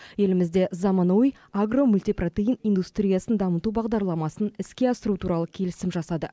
елімізде заманауи агро мультипротеин индустриясын дамыту бағдарламасын іске асыру туралы келісім жасады